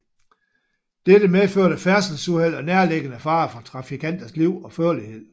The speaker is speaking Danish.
Dette medførte færdselsuheld og nærliggende fare for trafikanters liv og førlighed